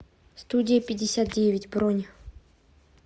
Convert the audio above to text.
студия пятьдесят девять бронь